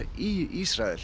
í Ísrael